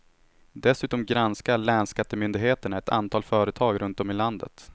Dessutom granskar länsskattemyndigheterna ett antal företag runt om i landet.